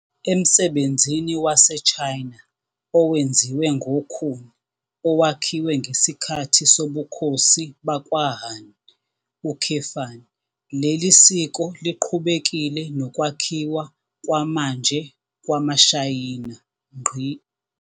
Emsebenzini waseChina owenziwe ngokhuni owakhiwe ngesikhathi sobukhosi bakwaHan, leli siko liqhubekile nokwakhiwa kwamanje kwamaShayina.